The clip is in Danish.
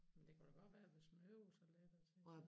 Men det kunne da godt være hvis man øvede sig og så ligesom